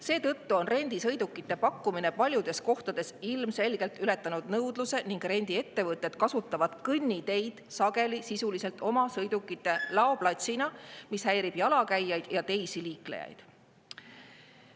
Seetõttu on rendisõidukite pakkumine paljudes kohtades ilmselgelt ületanud nõudluse ning rendiettevõtted kasutavad kõnniteid sageli sisuliselt oma sõidukite laoplatsina, mis häirib jalakäijaid ja teisi liiklejaid.